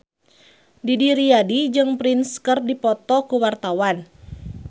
Didi Riyadi jeung Prince keur dipoto ku wartawan